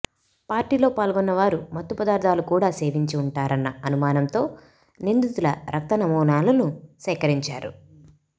పార్టీలో పాల్గొన్న వారు మత్తు పదార్థాలు కూడా సేవించి ఉంటారన్న అనుమానంతో నిందితుల రక్త నమూనాలను సేకరించారు